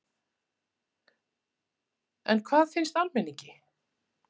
En hvað finnst almenningi?